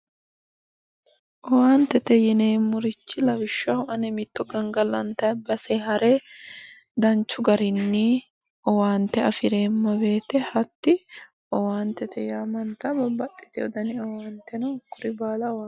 Owaantete yineemmorichi lawishshaho ani mitto gangalantayi base hare danchu garinni owaante afireemma woyiite hatti owaantete yaamantayo babbaxxeyo dani owaante no hakkuri baala owaantete yinayi